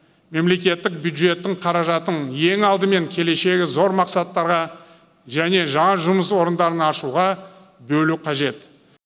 мемлекеттік бюджеттің қаражатын ең алдымен келешегі зор мақсаттарға және жаңа жұмыс орындарын ашуға бөлу қажет